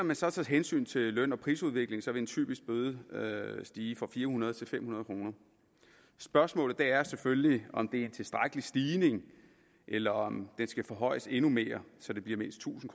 man så tager hensyn til løn og prisudviklingen vil en typisk bøde stige fra fire hundrede kroner til fem hundrede kroner spørgsmålet er selvfølgelig om det er en tilstrækkelig stigning eller om den skal forhøjes endnu mere så det bliver mindst tusind